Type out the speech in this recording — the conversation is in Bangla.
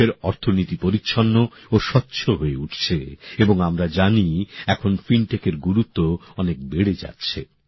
দেশের অর্থনীতি পরিচ্ছন্ন ও স্বচ্ছ হয়ে উঠছে এবং আমরা জানি এখন ফিনটেকের গুরুত্ব অনেক বেড়ে যাচ্ছে